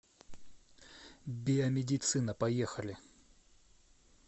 биомедицина поехали